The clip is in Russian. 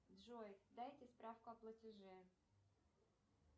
джой дайте справку о платеже